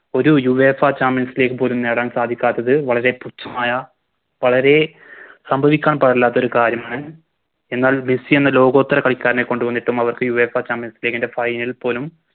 ഒരു Uefa champions league പോലും നേടാൻ സാധിക്കാത്തത് വളരെ പുച്ഛമായ വളരെ സംഭവിക്കാൻ പാടില്ലാത്തൊരു കാര്യമാണ് എന്നാൽ മെസ്സിയെന്ന ലോകോത്തര കളിക്കാരനെ കൊണ്ടു വന്നിട്ടും അവർക്ക് Uefa champions league ൻറെ Final ൽ പോലും